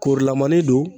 Korolamani don